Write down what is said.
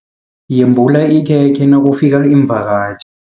Yembula ikhekhe nakufika iimvakatjhi.